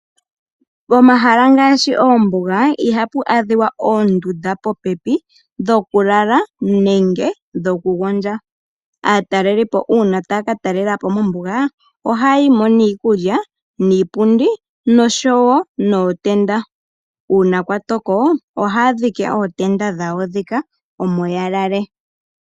Momahala ngaashi oombuga, iha pu adhiwa oonduda popepi dhokulala nenge dhokugondja. Aatalelipo una taya katalela po mombuga ohaya yi mo niikulya, niipundi noshowo nootenda. Uuna kwatoko ohaya dhike ootenda dhawo dhika omo ya lale.